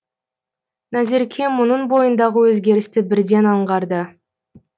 назерке мұның бойындағы өзгерісті бірден аңғарды